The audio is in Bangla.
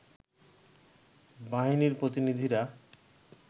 বাহিনীর প্রতিনিধিরা